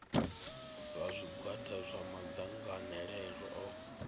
vha zwigwada zwa madzangalelo o